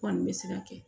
Kɔni bɛ se ka kɛ